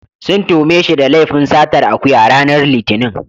Sun tuhume shi da laifin satar akuya, ranar Litinin.